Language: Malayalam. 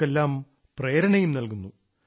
നമുക്കെല്ലാം പ്രേരണയും നൽകുന്നു